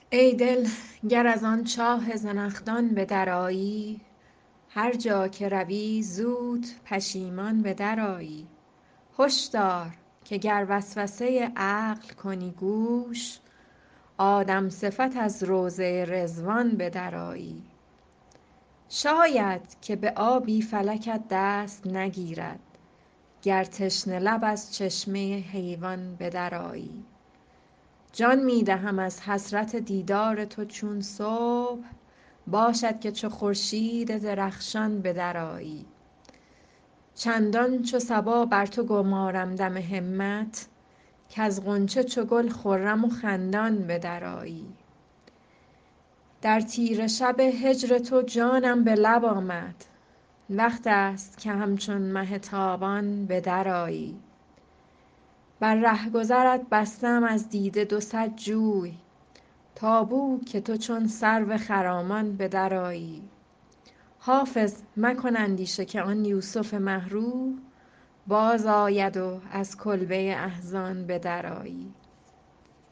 ای دل گر از آن چاه زنخدان به درآیی هر جا که روی زود پشیمان به درآیی هش دار که گر وسوسه عقل کنی گوش آدم صفت از روضه رضوان به درآیی شاید که به آبی فلکت دست نگیرد گر تشنه لب از چشمه حیوان به درآیی جان می دهم از حسرت دیدار تو چون صبح باشد که چو خورشید درخشان به درآیی چندان چو صبا بر تو گمارم دم همت کز غنچه چو گل خرم و خندان به درآیی در تیره شب هجر تو جانم به لب آمد وقت است که همچون مه تابان به درآیی بر رهگذرت بسته ام از دیده دو صد جوی تا بو که تو چون سرو خرامان به درآیی حافظ مکن اندیشه که آن یوسف مه رو بازآید و از کلبه احزان به درآیی